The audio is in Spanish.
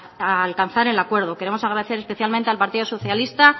a alcanzar el acuerdo queremos agradecer especialmente al partido socialista